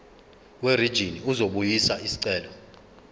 werijini uzobuyisa isicelo